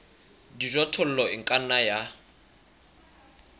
dijothollo e ka nna ya